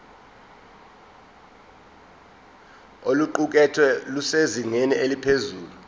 oluqukethwe lusezingeni eliphezulu